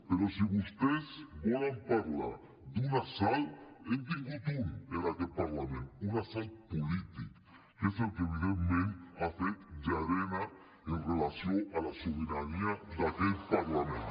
però si vostès volen parlar d’un assalt n’hem tingut un en aquest parlament un assalt polític que és el que evidentment ha fet llarena amb relació a la sobirania d’aquest parlament